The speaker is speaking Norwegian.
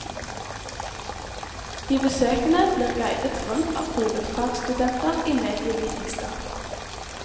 De besøkende blir guidet rundt av hovedfagsstudenter i medievitenskap.